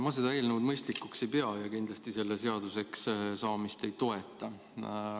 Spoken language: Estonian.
Ma seda eelnõu mõistlikuks ei pea ja kindlasti selle seaduseks saamist ei toeta.